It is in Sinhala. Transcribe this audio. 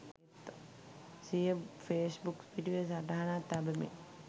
සිය ෆේස්බුක් පිටුවේ සටහනක් තබමින්